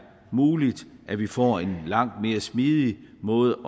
muligt at vi får en langt mere smidigt måde